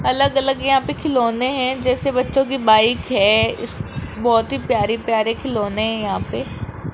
अलग अलग यहाँ पे खिलोने हैं जैसे बच्चों की बाइक है बहोत ही प्यारे प्यारे खिलौने हैं यहाँ पे।